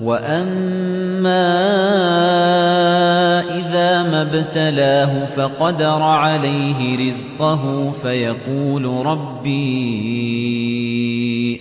وَأَمَّا إِذَا مَا ابْتَلَاهُ فَقَدَرَ عَلَيْهِ رِزْقَهُ فَيَقُولُ رَبِّي